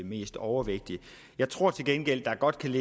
mest overvægtige jeg tror til gengæld at der godt kan